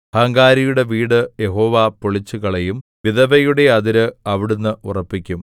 അഹങ്കാരിയുടെ വീട് യഹോവ പൊളിച്ചുകളയും വിധവയുടെ അതിര് അവിടുന്ന് ഉറപ്പിക്കും